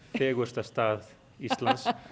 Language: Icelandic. fegursta stað Íslands